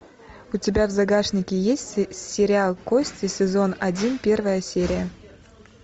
у тебя в загашнике есть сериал кости сезон один первая серия